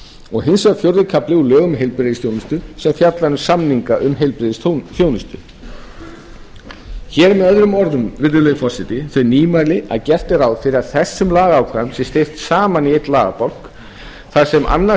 og hins vegar fjórði kafli úr lögum um heilbrigðisþjónustu sem fjallar um samninga um heilbrigðisþjónustu hér eru með öðrum orðum þau nýmæli að gert er ráð fyrir að þessum lagaákvæðum sé steypt saman í einn lagabálk þar sem annars